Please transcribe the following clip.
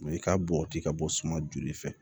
i ka boti ka bɔ suma joli fɛ